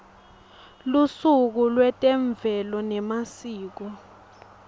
lusuku lwetemvelo nemasiko